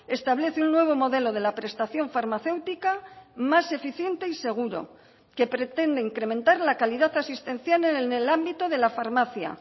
establece un nuevo modelo de la prestación farmacéutica más eficiente y seguro que pretende incrementar la calidad asistencial en el ámbito de la farmacia